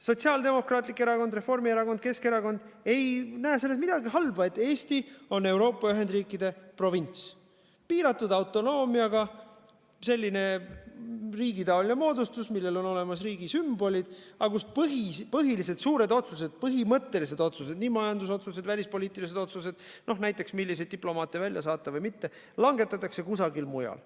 Sotsiaaldemokraatlik Erakond, Reformierakond, Keskerakond ei näe selles midagi halba, et Eesti on Euroopa ühendriikide provints, selline piiratud autonoomiaga riigitaoline moodustis, millel on olemas riigi sümbolid, aga kus põhilised suured otsused, põhimõttelised otsused, nii majandusotsused kui ka välispoliitilised otsused – no näiteks, milliseid diplomaate välja saata või mitte – langetatakse kusagil mujal.